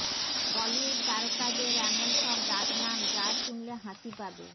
বলিউড তারকাদের এমন সব ডাকনাম যা শুনলে হাসি পাবে